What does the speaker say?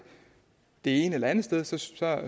ene eller det andet sted så